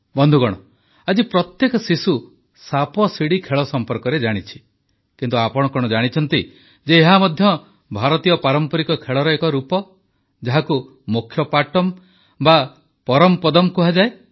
ବନ୍ଧୁଗଣ ଆଜି ପ୍ରତ୍ୟେକ ଶିଶୁ ସାପଶିଡ଼ି ଖେଳ ସମ୍ପର୍କରେ ଜାଣିଛି କିନ୍ତୁ ଆପଣ କଣ ଜାଣିଛନ୍ତି ଯେ ଏହା ମଧ୍ୟ ଭାରତୀୟ ପାରମ୍ପରିକ ଖେଳର ଏକ ରୂପ ଯାହାକୁ ମୋକ୍ଷପାଟମ୍ ବା ପରମପଦମ୍ କୁହାଯାଏ